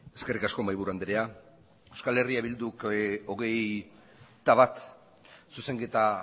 eskerrik asko mahaiburu andrea euskal herria bilduk hogeita bat zuzenketa